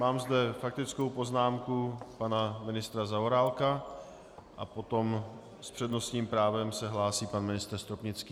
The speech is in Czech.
Mám zde faktickou poznámku pana ministra Zaorálka a potom s přednostním právem se hlásí pan ministr Stropnický.